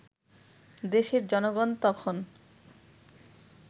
দেশের জনগণ তখন